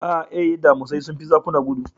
Ae, damisai sun fi zakuna gudu.